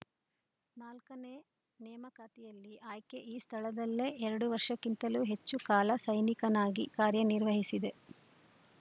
ನಾಲ್ಕನೇ ನೇಮಕಾತಿಯಲ್ಲಿ ಆಯ್ಕೆ ಈ ಸ್ಥಳದಲ್ಲೇ ಎರಡು ವರ್ಷಕ್ಕಿಂತಲೂ ಹೆಚ್ಚು ಕಾಲ ಸೈನಿಕನಾಗಿ ಕಾರ್ಯನಿರ್ವಹಿಸಿದೆ